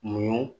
Mun